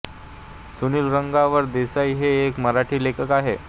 सुनील रंगराव देसाई हे एक मराठी लेखक आहेत